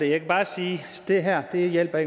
jeg kan bare sige at det her ikke hjælper